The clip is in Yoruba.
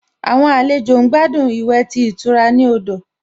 Àwọn àlejò ń gbádùn ìwẹ̀ tí ìtura ní odò